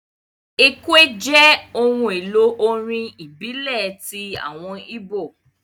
Ekwe jẹ́ ohun èlò orin ìbílẹ̀ ti àwọn ìbó